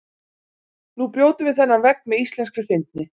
Nú brjótum við þennan vegg með íslenskri fyndni.